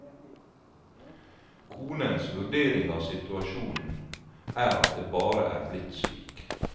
Konens vurdering av situasjonen er at det bare er blitt slik.